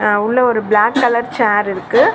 அ உள்ள ஒரு black colour chair இருக்கு.